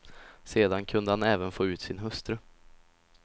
Sedan kunde han även få ut sin hustru.